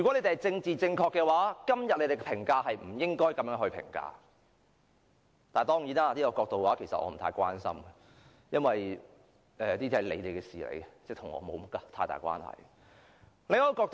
若要政治正確，今天不應作如此評價，不過我並不太關心這種角度，因為這是你們的事，與我無大關係。